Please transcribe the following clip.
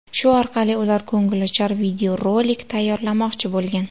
Shu orqali ular ko‘ngilochar videorolik tayyorlamoqchi bo‘lgan.